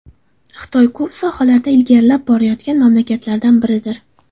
Xitoy ko‘p sohalarda ilgarilab borayotgan mamlakatlardan biridir.